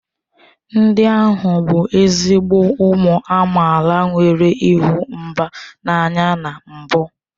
Ndị ahụ bụ ezigbo ụmụ amaala nwere ịhụ mba n'anya na mbụ